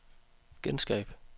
genskab